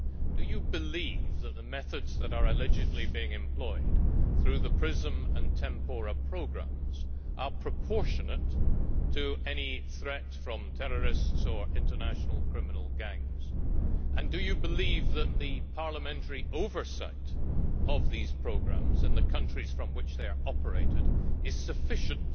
Do you believe that the methods that are allegedly being employed through the PRISM and Tempora programmes are proportionate to any threat from terrorists or international criminal gangs, and do you believe that the parliamentary oversight of these programmes and the countries from which they are operated is sufficient